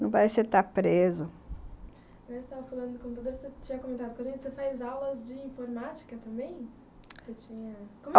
Não parece que você está preso. você tinha comentado com a gente , você fez aulas de informática também? você tinha...